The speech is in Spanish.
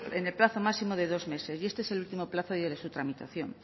en el plazo máximo de dos meses y este es el último plazo ya de su tramitación